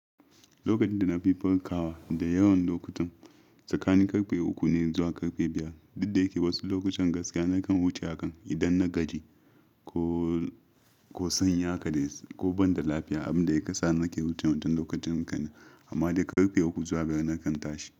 Lokacin da nafi fanka wa da yawan lokutan tsakanin karfe uku ne zuwa karfe biyar. Duk da yake wasu lokutan gaskiya nakan wuce hakan idan na gaji ko, ko sanya kaɗai ko banda lafiya, abin da ya kasani nake wuce lokacin haka. Amma dai karfe uku zuwa gari nakan tashi.